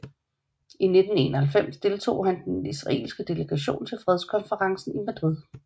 I 1991 deltog han i den israelske delegation til fredskonferencen i Madrid